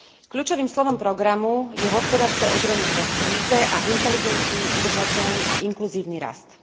Kľúčovým slovom programu je hospodárske oživenie po kríze a inteligentný, udržateľný a inkluzívny rast.